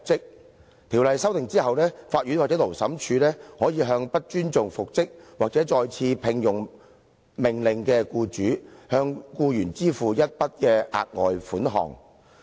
《僱傭條例》經修訂後，法院或勞審處可以命令不尊重復職或再次聘用的命令的僱主向僱員支付一筆額外款項。